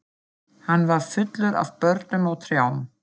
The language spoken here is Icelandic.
Hann var fullur af börnum og trjám.